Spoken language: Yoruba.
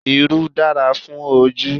Irú dára fún ojú